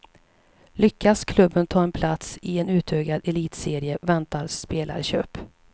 Lyckas klubben ta en plats i en utökad elitserie väntar spelarköp.